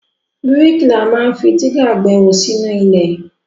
Bríkìlà ma ń fi dígà gbẹ́hò sínú ilẹ̀.